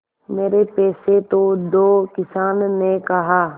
मेरे पैसे तो दो किसान ने कहा